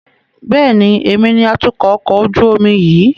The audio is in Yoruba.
Bẹ́ẹ̀ni, èmi ni atukọ̀ ọkọ̀ ojú omi yìí.